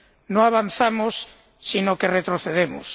No avanzamos, sino que retrocedemos.